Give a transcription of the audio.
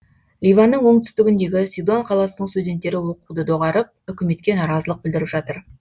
ливанның оңтүстігіндегі сидон қаласының студенттері оқуды доғарып үкіметке наразылық білдіріп жатыр